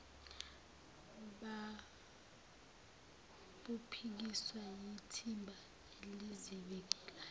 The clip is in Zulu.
babuphikiswa yithimba elizivikelayo